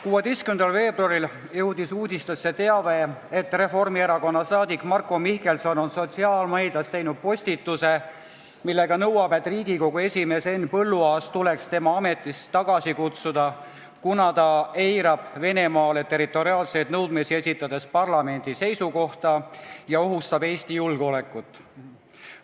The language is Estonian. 16. veebruaril jõudis uudistesse teave, et Reformierakonna saadik Marko Mihkelson on sotsiaalmeedias teinud postituse, millega nõuab, et Riigikogu esimees Henn Põlluaas tuleks ametist tagasi kutsuda, kuna ta eirab Venemaale territoriaalseid nõudmisi esitades parlamendi seisukohta ja ohustab Eesti julgeolekut.